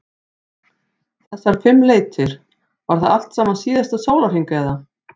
Fréttamaður: Þessar fimm leitir, var það allt saman síðasta sólarhring eða?